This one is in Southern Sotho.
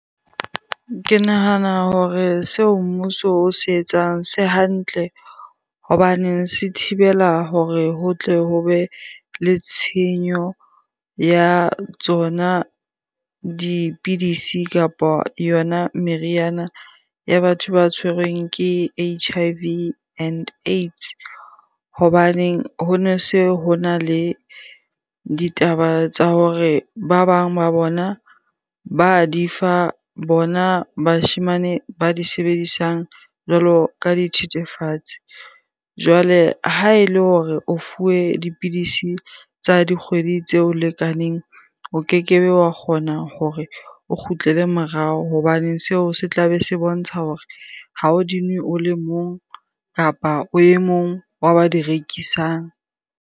Ke nahana hore seo mmuso o se etsang se hantle hobaneng se thibela hore ho tle ho be le tshenyo ya tsona dipidisi kapa yona meriana ya batho ba tshwerweng ke H_I_V and AIDS. Hobaneng hone se hona le ditaba tsa hore ba bang ba bona ba di fa bona bashemane ba di sebedisang jwalo ka dithethefatsi. Jwale ha ele hore o fuwe dipidisi tsa dikgwedi tseo lekaneng, o keke be wa kgona hore o kgutlele morao hobane seo se tla be se bontsha hore ha o di nwe o le mong kapa o e mong wa ba di rekisang.